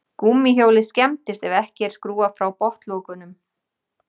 Gúmmíhjólið skemmist ef ekki er skrúfað frá botnlokunum.